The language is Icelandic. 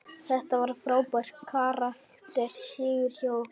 Þetta var frábær karakter sigur hjá okkur.